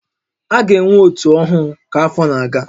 A ga-enwe ótú ọhụụ ka afọ na-aga